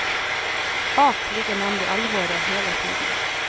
Bak ligger nemlig alvoret hele tiden.